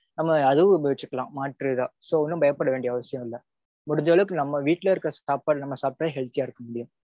ஆமா அதுவும் உபயோகிச்சுக்கலாம் மாற்று இதா. so ஒன்னும் பயப்பட வேண்டிய அவசியம் இல்ல. முடிஞ்ச அளவுக்கு நம்ம வீட்டுல இருக்க சாப்பாடு நம்ம சாப்பிட்டாலே healthy யா இருக்க முடியும்.